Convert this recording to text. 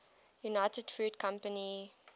united fruit company